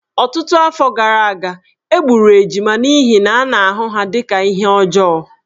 Ọtụtụ afọ gara aga, e gburu ejima n’ihi na a na-ahụ ha dị ka ihe ọjọọ.